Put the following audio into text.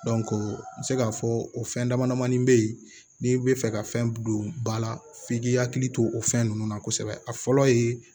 n bɛ se k'a fɔ o fɛn dama damani bɛ ye n'i bɛ fɛ ka fɛn don ba la f'i k'i hakili to o fɛn ninnu na kosɛbɛ a fɔlɔ ye